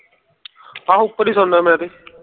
ਹਾਹੋ ਉਪਰ ਹੀ ਸੌਣਾ ਮੈਂ ਤੇ